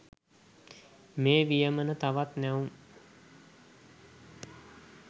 මේ වියමන තවත් නැවුම්.